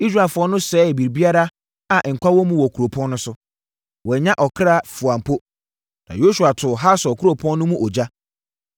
Israelfoɔ no sɛee biribiara a nkwa wɔ mu wɔ kuropɔn no so. Wɔannya ɔkra fua mpo. Na Yosua too Hasor kuropɔn no mu ogya.